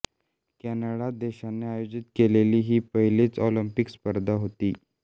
Canada देशाने आयोजीत केलेली ही पहिलीच ऑलिंपिक स्पर्धा होती